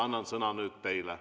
Annan sõna nüüd teile.